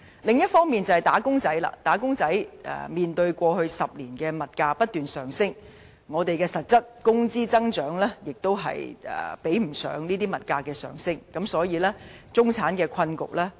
最後，"打工仔"面對過去10年物價不斷上升，但實質工資增長卻追不上物價升幅，所以中產面對的困局不輕。